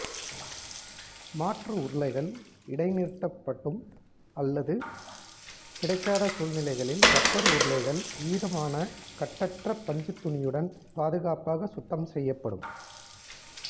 மாற்று உருளைகள் இடைநிறுத்தப்படும் அல்லது கிடைக்காத சூழ்நிலைகளில் ரப்பர் உருளைகள் ஈரமான கட்டற்ற பஞ்சுத் துணியுடன் பாதுகாப்பாக சுத்தம் செய்யப்படும்